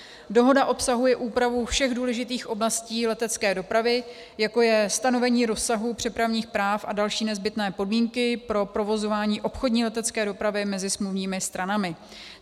Dohoda obsahuje úpravu všech důležitých oblastí letecké dopravy, jako je stanovení rozsahu přepravních práv a další nezbytné podmínky pro provozování obchodní letecké dopravy mezi smluvními stranami.